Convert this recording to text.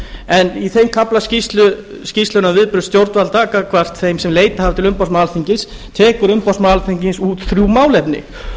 en í þeim kafla skýrslunnar um viðbrögð stjórnvalda gagnvart þeim sem leitað hafa til umboðsmanns alþingis tekur umboðsmaður alþingis út þrjú málefni